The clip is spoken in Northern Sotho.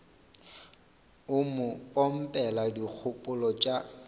o mo pompela dikgopolo tša